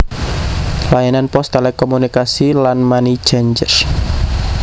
Layanan pos telekomunikasi lan money changer